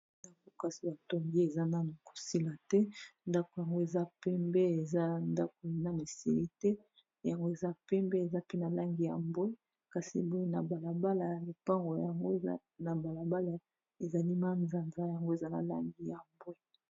Ndako kasi batongi eza nano kosila te ndako yango eza pembe eza ndako nanu esili te yango eza pembe eza mpe na langi ya mbwe kasi boye na balabala ya lopango yango eza na balabala ezali manzanza yango eza na langi ya mbwe.